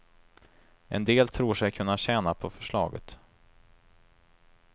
En del tror sig kunna tjäna på förslaget.